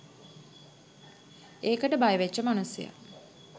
ඒකට බයවෙච්ච මනුස්සය